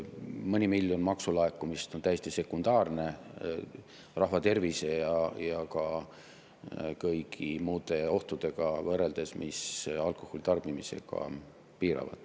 Mõni miljon maksulaekumist on täiesti sekundaarne rahva tervise ja ka kõigi muude ohtudega võrreldes, mis alkoholi tarbimisega kaasnevad.